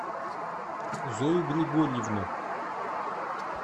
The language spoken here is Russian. зою григорьевну